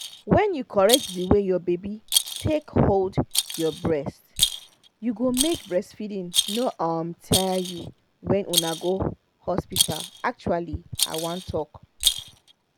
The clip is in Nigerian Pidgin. when you correct the way your baby take hold your breast you go make breastfeeding no um tire you when una go hospital actually i won talk